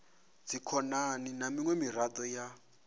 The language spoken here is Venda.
dzikhonani na miṅwe miraḓo ya